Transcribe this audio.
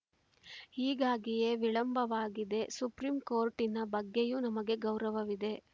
ಹೀಗಾಗಿಯೇ ವಿಳಂಬವಾಗಿದೆ ಸುಪ್ರೀಂ ಕೋರ್ಟಿನ ಬಗ್ಗೆಯೂ ನಮಗೆ ಗೌರವವಿದೆ